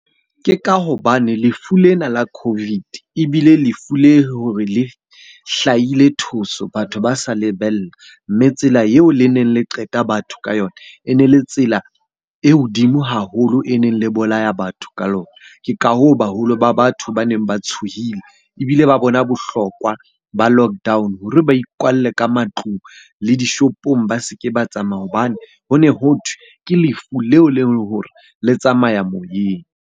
Ke ka hobane lefu lena la COVID ebile lefu le hore le hlahile thoso! Batho ba sa lebella, mme tsela eo le neng le qeta batho ka yona e ne le tsela e hodimo haholo e neng le bolaya batho ka lona. Ke ka hoo, baholo ba batho ba neng ba tshohile ebile ba bona bohlokwa ba lockdown hore ba ikwalle ka matlung. Le dishopong ba se ke ba tsamaya hobane ho ne hothwe ke lefu leo e leng hore le tsamaya moyeng.